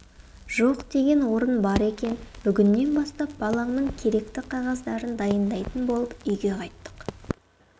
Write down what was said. жоқ деген орын бар екен бүгіннен бастап балаңның керекті қағаздарын дайындайтын болып үйге қайттық